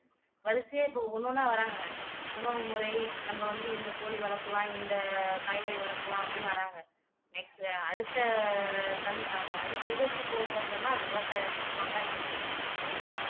வரிசையா இப்போ ஒண்ணு ஒண்ணா வராங்க உணவுமுறை நம்ம வந்து இந்த கோழி வளர்க்கலாம் இந்த காய்கறி வளர்க்கலாம் அப்படின்னு வர்றாங்க next அடுத்த சந் அந்த அடுத்த இதுக்கு போகப்போறதுன்னா அது விவசாயிகளுக்கு மட்டுமாதான் இருக்கும்னு எனக்கு தோணுது